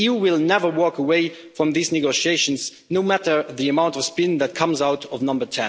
The EU will never walk away from these negotiations, no matter the amount of spin that comes out of Number